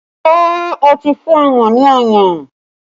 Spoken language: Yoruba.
Ṣé o ti fún ọmọ ní ọyàn?